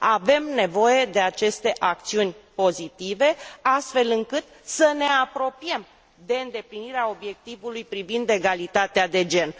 Avem nevoie de aceste acțiuni pozitive, astfel încât să ne apropiem de îndeplinirea obiectivului privind egalitatea de gen.